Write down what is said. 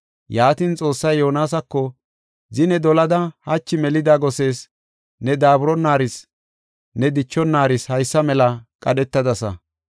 Yaatin Xoossay Yoonasako, “Zine dolada hachi melida gosees, ne daaburonaaris, ne dichonaris haysa mela qadhetadasa.